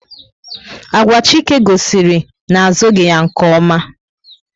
Agwa Chike gosiri na a zughi ya nke oma